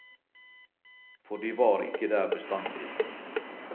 For de var ikke der bestandig.